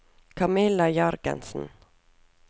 Camilla Jørgensen